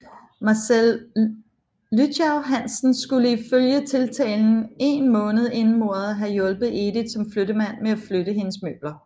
Marcel Lychau Hansen skulle ifølge tiltalen én måned inden mordet have hjulpet Edith som flyttemand med at flytte hendes møbler